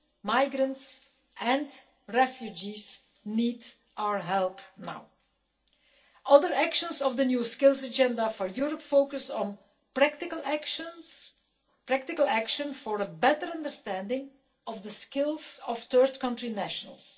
Migrants and refugees need our help now. Other actions of the new Skills Agenda for Europe focus on practical actions, practical action for a better understanding of the skills of third country nationals.